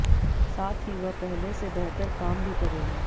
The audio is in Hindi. साथ ही वह पहले से बेहतर काम भी करेगा